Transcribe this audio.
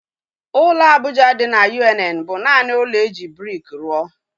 Ụlọ Abuja dị na UNN bụ naanị ụlọ e ji brik rụọ